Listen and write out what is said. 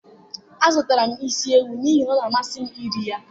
azụtara m isi ewu n'ihi na-amasị m iri ya.